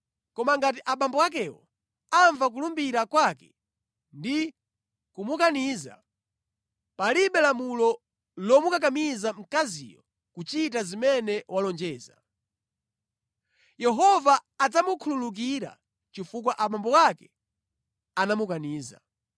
Koma ngati abambo akewo amva kulumbira kwake ndi kumukaniza, palibe lamulo lomukakamiza mkaziyo kuchita zimene walonjeza. Yehova adzamukhululukira chifukwa abambo ake anamukaniza.